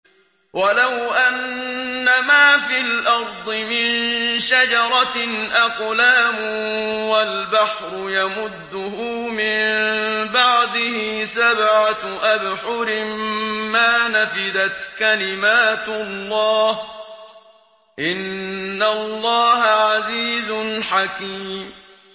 وَلَوْ أَنَّمَا فِي الْأَرْضِ مِن شَجَرَةٍ أَقْلَامٌ وَالْبَحْرُ يَمُدُّهُ مِن بَعْدِهِ سَبْعَةُ أَبْحُرٍ مَّا نَفِدَتْ كَلِمَاتُ اللَّهِ ۗ إِنَّ اللَّهَ عَزِيزٌ حَكِيمٌ